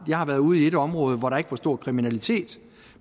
jeg har været ude i et område hvor der ikke var stor kriminalitet